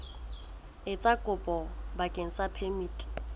etsa kopo bakeng sa phemiti